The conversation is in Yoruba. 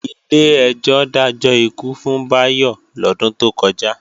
Ilé ẹjọ́ dájọ́ ikú fún Bayo lodun to koja